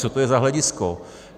Co to je za hledisko?